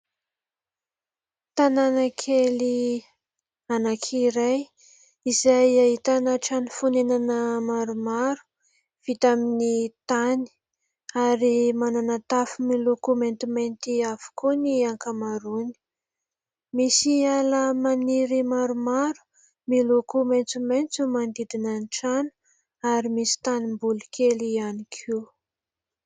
Tanàna kely anankiray izay ahitana trano fonenana maromaro vita amin'ny tany ary manana tafo miloko maintimainty avokoa ny ankamaroany. Misy ala maniry maromaro miloko maintsomaintso manodidina ny trano ary misy tanimboly kely ihany koa.